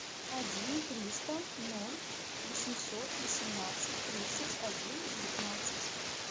один триста ноль восемьсот восемнадцать тридцать один девятнадцать